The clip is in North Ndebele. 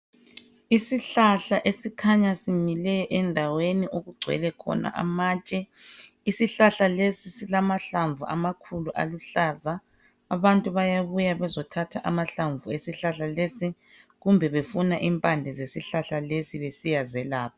Isihlahla esikhanya simile endaweni okugcewelekhona amatshe isihlahla lesi silamahlavu aluhlaza abantu bayabuya bezothatha amahlamnvu kumbe befuna impande zesihlahla besiyazelapha.